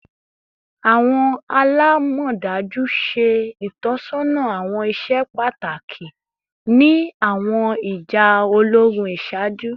Awọn alamọdaju ṣe itọsọna awọn iṣẹ pataki ni awọn ija ologun iṣaaju